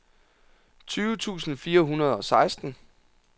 tyve tusind fire hundrede og seksten